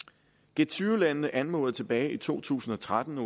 g20 landene anmodede tilbage i to tusind og tretten